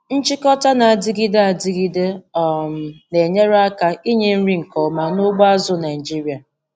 Nchịkọta na-adịgide adịgide um na-enyere aka inye nri nke ọma na ugbo azụ̀ Naịjiria.